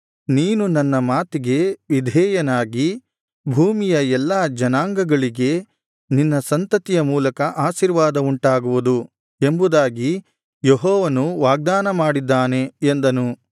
ನೀನು ನನ್ನ ಮಾತಿಗೆ ವಿಧೇಯನಾಗಿ ಭೂಮಿಯ ಎಲ್ಲಾ ಜನಾಂಗಗಳಿಗೆ ನಿನ್ನ ಸಂತತಿಯ ಮೂಲಕ ಆಶೀರ್ವಾದವುಂಟಾಗುವುದು ಎಂಬುದಾಗಿ ಯೆಹೋವನು ವಾಗ್ದಾನ ಮಾಡಿದ್ದಾನೆ ಎಂದನು